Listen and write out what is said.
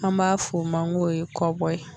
An b'a fɔ o man n ko ye kɔbɔ ye.